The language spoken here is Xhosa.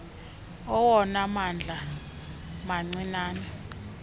awona mandla mancinane